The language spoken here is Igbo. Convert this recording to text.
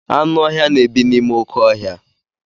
Anụ ọhịa na-ebi n'ime oké ọhịa.